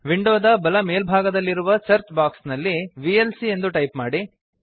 ವಿಂಡೋದ ಬಲ ಮೇಲ್ಭಾಗದಲ್ಲಿರುವ ಸರ್ಚ್ ಬಾಕ್ಸ್ ನಲ್ಲಿ ವಿಎಲ್ಸಿ ಎಂದು ಟೈಪ್ ಮಾಡಿ